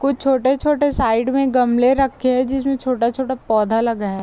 कुछ छोटे-छोटे साइड में गमले रखे है जिसमें छोटा-छोटा पौधा लगा है।